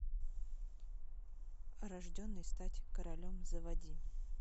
рожденный стать королем заводи